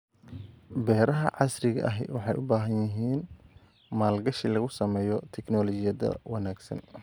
Beeraha casriga ahi waxay u baahan yihiin maalgashi lagu sameeyo tignoolajiyada wanaagsan.